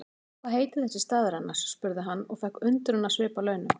Hvað heitir þessi staður annars? spurði hann og fékk undrunarsvip að launum.